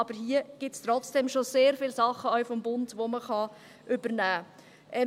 Aber hier gibt es trotzdem schon sehr viele Dinge – auch vom Bund –, die man übernehmen kann.